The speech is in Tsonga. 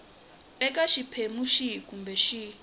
eka xiphemu xihi kumbe xihi